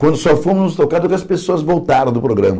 Quando só fomos nos tocar, porque as pessoas voltaram do programa.